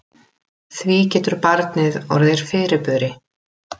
Því getur barnið orðið fyrirburi.